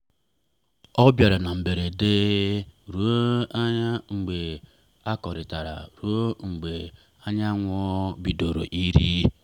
ọ bịara na mberede anyị wee na-akọrịta ruo mgbe anyanwụ bidoro ịrị.